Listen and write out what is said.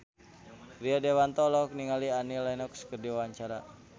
Rio Dewanto olohok ningali Annie Lenox keur diwawancara